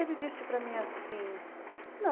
Ele disse para mim assim, não.